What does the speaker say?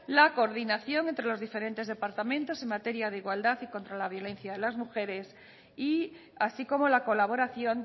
la coordinación entre los diferentes departamentos en materia de igualdad y contra la violencia de las mujeres y así como la colaboración